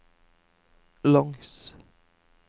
langs